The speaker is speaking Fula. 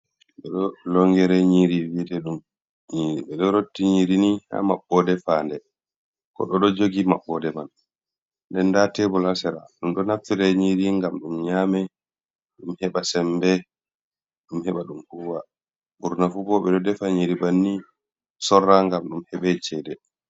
Longirenyiri vi'ete ɗum nyiri ɓe ɗo rotti nyirini ha maɓɓode fande. Goɗɗoo ɗo jogi mabbode man nden nda tebol ha sera ɗum do naftire nyiri gam ɗum nyami ɗum heɓa sembe, ɗum heɓa ɗum huwa burnafu bo ɓe do defa nyiri banni sorra ngam ɗum heɓa cede.